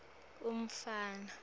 umfana